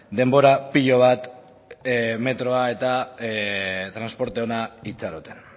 denbora pilo bat metroa eta transporte ona itxaroten